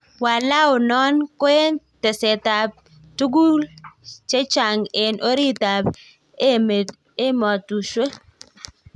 Walao non koen tesetap tugul chenchang en orit ap emetushwek.